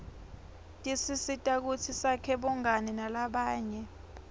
tisisita kutsi sakhe bungani nalabanye